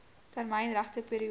termyn regte periode